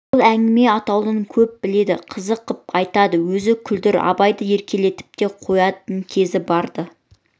ол әңгіме атаулыны көп біледі қызық қып айтады өзі күлдіргі абайды еркелетіп те қоятын кезі барды